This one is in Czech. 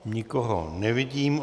Nikoho nevidím.